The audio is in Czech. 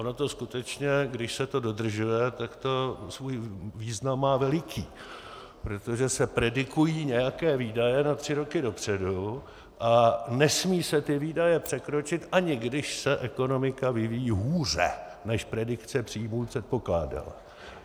Ono to skutečně, když se to dodržuje, tak to svůj význam má veliký, protože se predikují nějaké výdaje na tři roky dopředu a nesmí se ty výdaje překročit, ani když se ekonomika vyvíjí hůře, než predikce příjmů předpokládá.